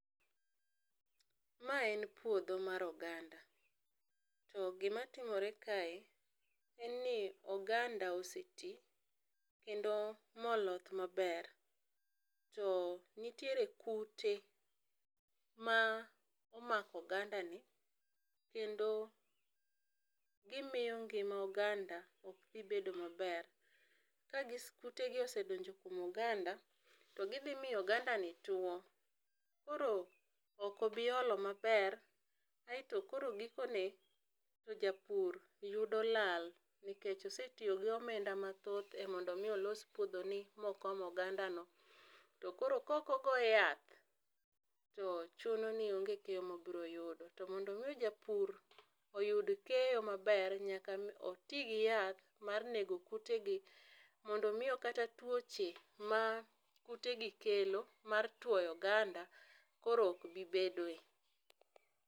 Ma en puodho mar oganda to gi matimore kae en ni oganda osetii kendo ma oloth ma ber to nitiere kute ma omako oganda ni kendo gi miyo ngima oganda ok dhi bedo ma ber. Ka gi kute gi osedonjo kuom oganda, to gi dhi miyo oganda ni two koro ok obi olo maber aito koro giko ne japur yudo lal nikech osetiyo gi omenda ma thoth e mondo mi olos puodho ni mondo okom oganda no to koro kok ogo yath to chuno ni onge keyo ma obiro yudo. To mondo mi japur oyud keyo ma ber nyaka oti gi yath mar nego kute gi mondo miyo kata twoche ma kute gi kelo mar twoyo oganda koro ok bi bedo.